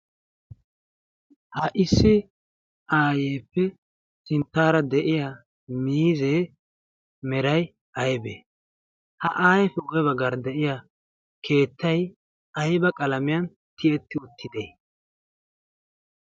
ha issi ayefe sinttaara de'iya mizzee meray aybee? ha ayeepe guye baggaara de'iya keettay ayba qalamiyan tiyetti uttide?